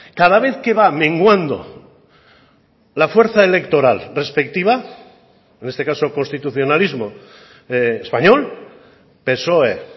cada vez que va menguando la fuerza electoral respectiva en este caso constitucionalismo español psoe